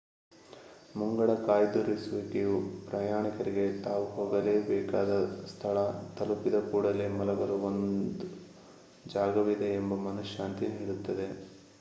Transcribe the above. ಮುಂಗಡ ಕಾಯ್ದಿರಿಸುವಿಕೆಯು ಪ್ರಯಾಣಿಕರಿಗೆ ತಾವು ಹೋಗಬೇಕಾದ ಸ್ಥಳ ತಲುಪಿದ ಕೂಡಲೇ ಮಲಗಲು ಒಂದ ಜಾಗವಿದೆ ಎಂಬ ಮನಃಶಾಂತಿ ನೀಡುತ್ತದೆ